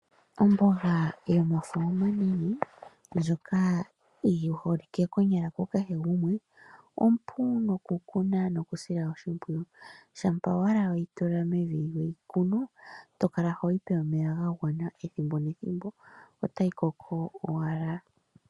Omboga yomafo omanene ndjoka yi holike konyala ku kehe gumwe, ompu nokukuna nokusila oshimpwiyu. Shampa owala weyi tula mevi weyi kunu to kala hoyi pe omeya ga gwana ethimbo nethimbo, otayi koko owala.